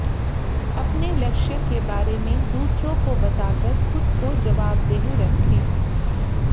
अपने लक्ष्य के बारे में दूसरों को बताकर खुद को जवाबदेह रखें